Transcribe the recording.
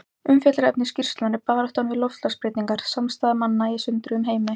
Umfjöllunarefni skýrslunnar er Baráttan við loftslagsbreytingar: Samstaða manna í sundruðum heimi.